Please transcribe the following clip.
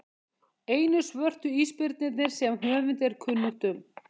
einu svörtu ísbirnirnir sem höfundi er kunnugt um